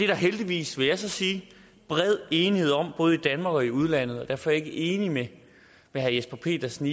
der heldigvis vil jeg så sige bred enighed om både i danmark og i udlandet og derfor ikke enig med herre jesper petersen